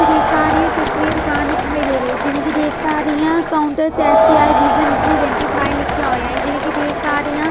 ਜਿਵੇਂ ਕਿ ਦੇਖ ਪਾ ਰਹੀ ਹਾਂ ਚਸ਼ਮੇ ਦੀ ਦੁਕਾਨ ਦਿਖਾਈ ਦੇ ਰਹੀ ਹੈ ਜਿਵੇਂ ਕਿ ਦੇਖ ਪਾ ਰਹੀ ਹਾਂ ਕਾਊਂਟਰ ਚੈਸ ਆਏ ਵਿਜ਼ਨ ਰੀਡੈਂਟੀਫਾਈ ਲਿਖਆ ਹੋਇਆ ਏ ਜਿਵੇਂ ਕਿ ਦੇਖ ਪਾ ਰਹੀ ਹਾਂ।